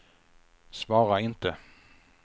svara inte